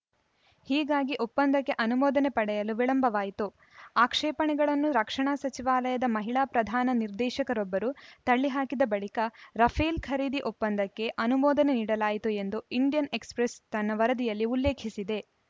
ಹೀಗಾಗಿ ಒಪ್ಪಂಕ್ಕೆ ಅನುಮೋದನೆ ಪಡೆಯಲು ವಿಳಂಬವಾಯಿತು ಆಕ್ಷೇಪಣೆಗಳನ್ನು ರಕ್ಷಣಾ ಸಚಿವಾಲಯದ ಮಹಿಳಾ ಪ್ರಧಾನ ನಿರ್ದೇಶಕರೊಬ್ಬರು ತಳ್ಳಿಹಾಕಿದ ಬಳಿಕ ರಫೇಲ್‌ ಖರೀದಿ ಒಪ್ಪಂದಕ್ಕೆ ಅನುಮೋದನೆ ನೀಡಲಾಯಿತು ಎಂದು ಇಂಡಿಯನ್‌ ಎಕ್ಸ್‌ಪ್ರೆಸ್‌ ತನ್ನ ವರದಿಯಲ್ಲಿ ಉಲ್ಲೇಖಿಸಿದೆ